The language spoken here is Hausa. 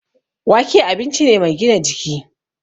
Wake abinci ne mai gina jiki